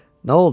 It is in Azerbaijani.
Nə oldu?